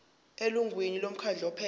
elungwini lomkhandlu ophethe